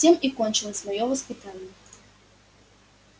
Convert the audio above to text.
тем и кончилось моё воспитание